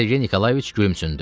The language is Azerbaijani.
Sergey Nikolayeviç gülümsündü.